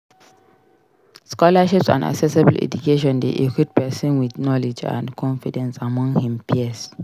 Scholarships and accessible education de equip persin with knowlegde and confidence among him peers